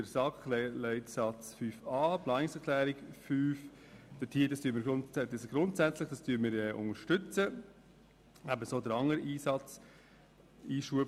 Die Planungserklärung 5 der SAK-Mehrheit unterstützen wir grundsätzlich, ebenso den darin enthaltenen Einschub.